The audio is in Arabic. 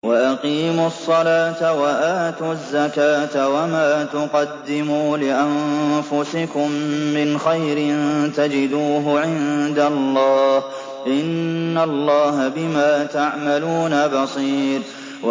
وَأَقِيمُوا الصَّلَاةَ وَآتُوا الزَّكَاةَ ۚ وَمَا تُقَدِّمُوا لِأَنفُسِكُم مِّنْ خَيْرٍ تَجِدُوهُ عِندَ اللَّهِ ۗ إِنَّ اللَّهَ بِمَا تَعْمَلُونَ بَصِيرٌ